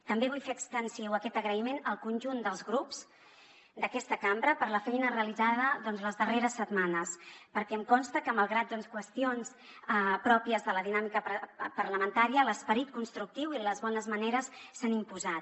també vull fer extensiu aquest agraïment al conjunt dels grups d’aquesta cambra per la feina realitzada doncs les darreres setmanes perquè em consta que malgrat qüestions pròpies de la dinàmica parlamentària l’esperit constructiu i les bones maneres s’han imposat